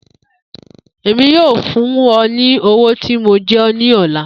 Emi yoo fun ọ ni owo ti mo jẹ ọ ni ọla.